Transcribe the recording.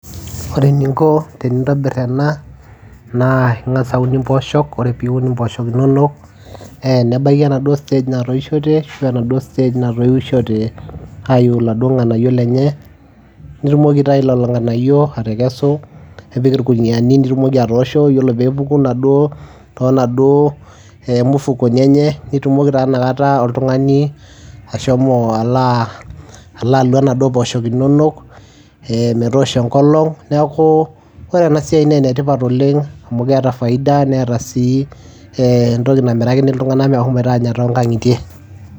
Ore eninko tenintobir ena naa ing'asa aun impooshok, kore piun impooshok inonok ee nebaiki enaduo stage natoishote ashu enaduo stage naitoishote ayiu iladuo ng'anayio lenye, nitumoki aitayu lelo ng'anayio atekesu nipik irkuniani nitumoki atoosho, iyiolo pee epuku inaduo too naduo mufukoni enye nitumoki taa inakata oltung'ani ashomo alo aa alo alua inaduo pooshok inonok ee metoosho enkolong'. Neeku ore ena siai nee ene tipat oleng' amu keeta faida, neeta sii ee entoki namirakini iltung'anak meshomoita aanya too nkang'itie.